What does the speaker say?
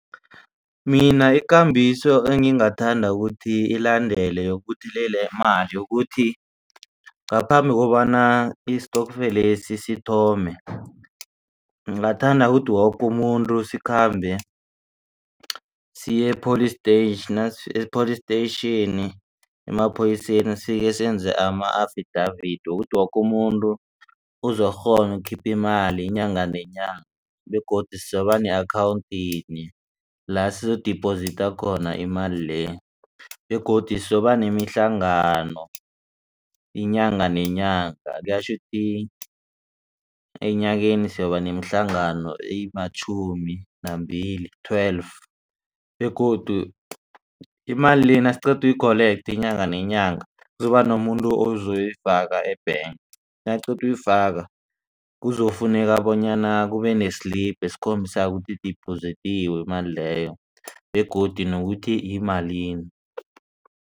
Mina ikambiso engingathanda ukuthi ilandele yokubuthelela imali yokuthi ngaphambi kobana isitokfelesi sithome. Ngingathanda ukuthi woke umuntu sikhambe siye e-police station nasifika epolice station emaphoyiseni sifike senze ama-affidavit wokuthi woke umuntu uzokukghona ukukhipha imali inyanga nenyanga begodu sizoba ne-account yinye la sizokudiphozitha khona imali le begodu sizokuba nemihlangano inyanga nenyanga kuyatjho kuthi enyakeni soba nemihlangano ematjhumi nambili twelve begodu imali le nasiqeda ukuyi-collector inyanga nenyanga kuzoba nomuntu ozoyifaka e-bank nakaqeda uyifaka. Kuzokufuneka bonyana kube ne-slip esikhombisa ukuthi idiphozithiwe imali leyo begodu nokuthi yimalini.